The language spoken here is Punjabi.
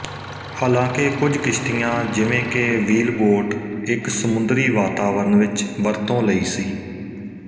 ਹਾਲਾਂਕਿ ਕੁਝ ਕਿਸ਼ਤੀਆਂ ਜਿਵੇਂ ਕਿ ਵ੍ਹੀਲਬੋਟ ਇੱਕ ਸਮੁੰਦਰੀ ਵਾਤਾਵਰਣ ਵਿੱਚ ਵਰਤੋਂ ਲਈ ਸੀ